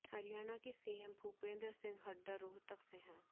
हरियाणा के सीएम भूपेंद्र सिंह हुड्डा रोहतक से हैं